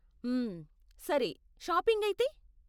మ్మ్, సరే, షాపింగ్ అయితే?